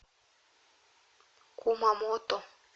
кумамото